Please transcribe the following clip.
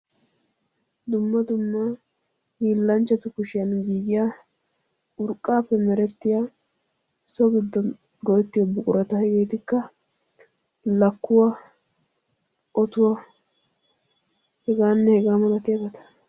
dumma dumma hiillanchchatu kushiyan giiyiya urqqaappe merettiya so giddo go'ettiyo buqurata. hegeetikka lakkuwaa otuwaa hegaanne hegaa malatiyabata.